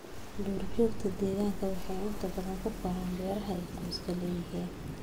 Duur-joogta deegaanku waxay inta badan ku koraan beeraha ay qoysku leeyihiin.